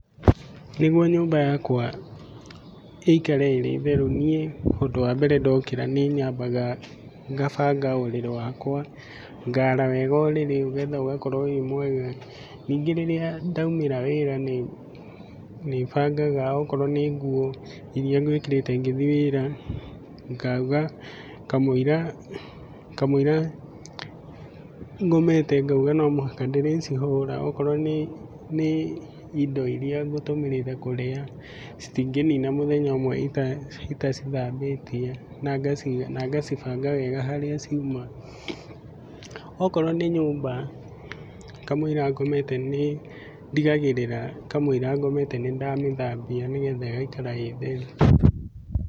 Nĩguo nyũmba yakwa ĩikare ĩrĩ theru, niĩ ũndũ wa mbere ndaũkĩra nĩnyambaga ngabanga ũrĩrĩ wakwa. Ngaara wega ũrĩrĩ nĩgetha ũgakorwo wĩ mwega. Ningĩ rĩrĩa ndaumĩra wĩra nĩbangaga akorwo nĩ nguo, iria ngwĩkĩrĩte ngĩthiĩ wĩra, ngauga kamũira kamũira ngomete ngauga no mũhaka ndĩrĩcihũra, okorwo nĩ nĩ indo iria ngũtũmĩrĩte kũrĩa, citingĩnina mũthenya ũmwe itacithambĩtie na ngaciga na ngacibanga wega harĩa ciuma. Okorwo nĩ nyũmba, kamũira ngomete nĩndigagĩrĩra kamũira ngomete nĩndamĩthambia nĩgetha ĩgaikara ĩ theru.